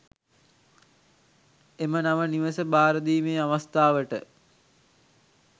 එම නව නිවස භාරදීමේ අවස්ථාවට